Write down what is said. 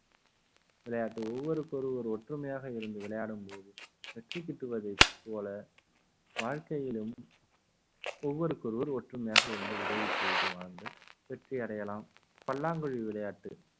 விளையாட்டு ஒவ்வொருவருக்கும் ஒருவர் ஒற்றுமையாக இருந்து விளையாடும் போது வெற்றி கிட்டுவதை போல வாழ்க்கையிலும் ஒவ்வொருவருக்கொருவர் ஒற்றுமையாக இருந்து உதவி செய்து வாழ்ந்தால் வெற்றி அடையலாம் பல்லாங்குழி விளையாட்டு